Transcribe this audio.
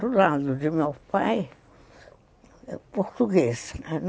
Do lado de meu pai, português.